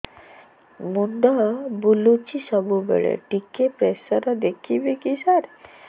ମୁଣ୍ଡ ବୁଲୁଚି ସବୁବେଳେ ଟିକେ ପ୍ରେସର ଦେଖିବେ କି ସାର